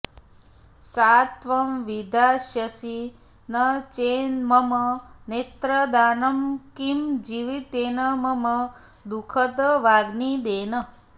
सा त्वं विधास्यसि न चेन्मम नेत्रदानं किं जीवितेन मम दुःखदवाग्निदेन